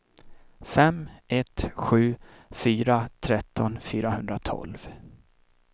fem ett sju fyra tretton fyrahundratolv